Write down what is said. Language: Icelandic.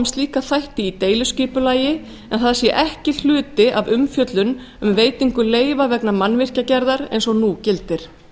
slíka þætti í deiliskipulagi en það sé ekki hluti af umfjöllun um veitingu leyfa vegna mannvirkjagerðar eins og nú gildir